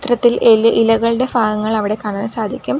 ത്തിൽ എ ഇലകളുടെ ഭാഗങ്ങൾ അവിടെ കാണാൻ സാധിക്കും.